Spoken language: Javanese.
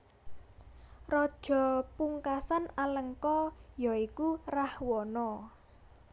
Raja pungkasan Alengka ya iku Rahwana